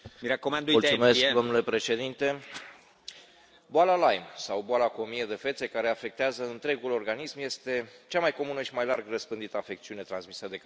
Domnule președinte, boala Lyme sau boala cu o mie de fețe, care afectează întregul organism, este cea mai comună și mai larg răspândită afecțiune transmisă de căpușe în Europa.